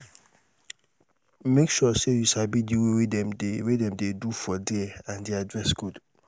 make sure say you sabi the way dem de way dem de do for there and their dress code